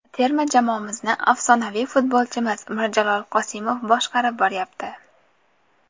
Terma jamoamizni afsonaviy futbolchimiz Mirjalol Qosimov boshqarib boryapti.